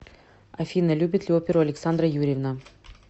афина любит ли оперу александра юрьевна